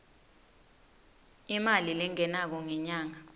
imali lengenako ngenyanga